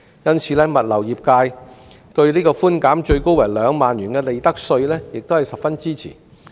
因此，物流業界對寬免最高2萬元的利得稅亦十分支持。